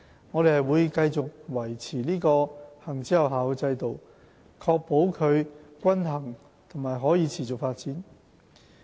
我們會繼續維持這個行之有效的制度，確保它均衡和可持續發展。